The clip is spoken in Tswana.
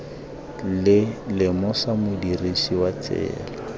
le lemosa modirisi wa tsela